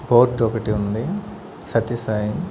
Board ఒకటి ఉంది సత్యసాయి.